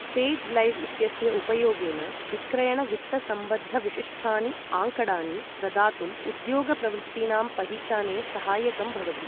Sage Live इत्यस्य उपयोगेन विक्रयणवित्तसम्बद्धविशिष्टानि आँकडानि प्रदातुं उद्योगप्रवृत्तीनां पहिचाने सहायकं भवति।